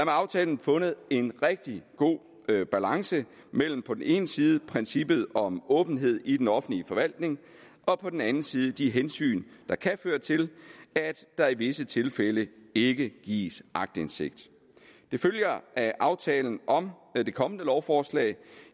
aftalen fundet en rigtig god balance mellem på den ene side princippet om åbenhed i den offentlige forvaltning og på den anden side de hensyn der kan føre til at der i visse tilfælde ikke gives aktindsigt det følger af aftalen om det kommende lovforslag